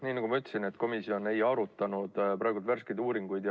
Nii nagu ma ütlesin, siis komisjon ei arutanud praegu värskeid uuringuid.